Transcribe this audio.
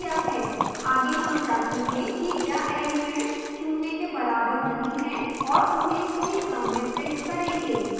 आगे हम जाँचेंगे कि क्या elements शून्य के बराबर नहीं हैं और उन्हें सही क्रम में प्रिंट करेंगे